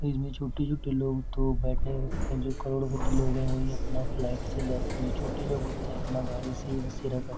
इसमें छोटे छोटे लोग तो बैठने नही जो करोड़पति लोग है वही लोग अपना फ्लाइट से जाते है जो छोटे लोग होते अपना गाड़ी से ही बसेरा करते हैं।